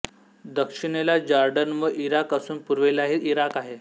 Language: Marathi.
दक्षिणेला जॉर्डन व इराक असून पूर्वेलाही इराक आहे